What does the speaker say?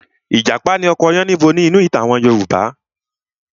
Ìjàpá ni ọkọ Yánníbo nínú àwọn ìtàn Yorùbá.